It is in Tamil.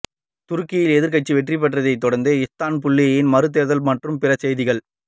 துருக்கியில் எதிர்க்கட்சி வெற்றி பெற்றதை தொடர்ந்து இஸ்தான்புல்லில் மறுதேர்தல் மற்றும் பிற செய்திகள்